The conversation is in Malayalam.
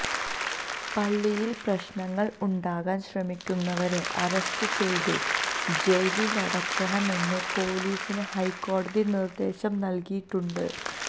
പള്ളിയിൽ പ്രശ്നങ്ങൾ ഉണ്ടാക്കാൻ ശ്രമിക്കുന്നവരെ അറസ്റ്റ് ചെയ്തു ജയിലിലടയ്ക്കണമെന്നു പൊലീസിന് ഹൈക്കോടതി നിർദ്ദേശം നൽകിയിട്ടുണ്ട്